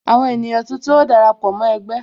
Àwọn ènìyàn tuntun ó dara pọ mó ẹgbẹ́